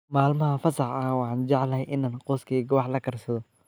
Maalmaha fasaxa ah, waxaan jeclahay inaan qoyskayga wax la karsado.